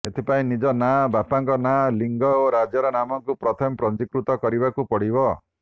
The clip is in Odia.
ଏଥିପାଇଁ ନିଜ ନାଁ ବାପାଙ୍କ ନାଁ ଲିଙ୍ଗ ଓ ରାଜ୍ୟର ନାମକୁ ପ୍ରଥମେ ପଞ୍ଜୀକୃତ କରିବାକୁ ପଡ଼ିବ